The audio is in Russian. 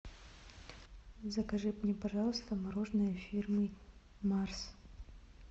закажи мне пожалуйста мороженое фирмы марс